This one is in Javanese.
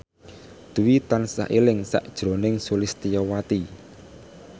Dwi tansah eling sakjroning Sulistyowati